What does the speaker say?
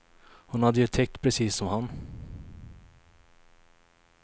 Hon hade ju tyckt precis som han.